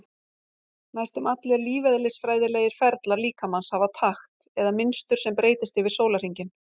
Næstum allir lífeðlisfræðilegir ferlar líkamans hafa takt eða mynstur sem breytist yfir sólarhringinn.